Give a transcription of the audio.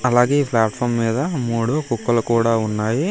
అలాగే ఈ ప్లాట్ఫాం మీద మూడు కుక్కలు కూడా ఉన్నాయి.